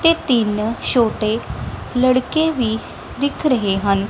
ਤੇ ਤਿੰਨ ਛੋਟੇ ਲੜਕੇ ਵੀ ਦਿਖ ਰਹੇ ਹਨ।